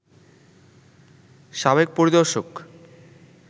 সাবেক পরিদর্শক